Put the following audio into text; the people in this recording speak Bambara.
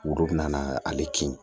Olu bina na ale kin